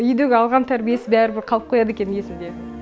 үйдегі алған тәрбиесі бәрібір қалып қояды екен есінде